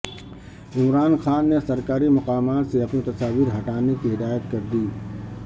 عمران خان نے سرکاری مقامات سے اپنی تصاویر ہٹانے کی ہدایت کردی